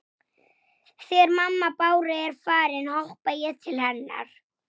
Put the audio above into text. Þú veist hvar það er?